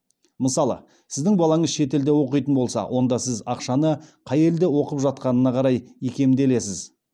мысалы сіздің балаңыз шетелде оқитын болса онда сіз ақшаны қай елде оқып жатқанына қарай икемделесіз